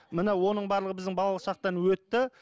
міне оның барлығы біздің балалық шақтан өтті